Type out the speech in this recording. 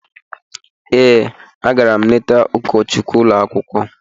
Ee, agara m leta ụkọchukwu ụlọ akwụkwọ.